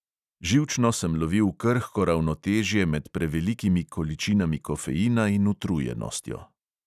Živčno sem lovil krhko ravnotežje med prevelikimi količinami kofeina in utrujenostjo.